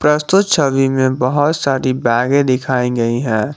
दोस्तो छवि में बहोत सारी बैगे दिखाई गई है।